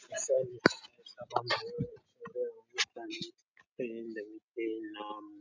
su sani sai ka fara rufe da mutane kai yanda muke yin na mu.